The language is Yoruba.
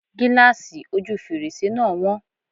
Gíláàsì ojú fèrèsé náà wọ́n.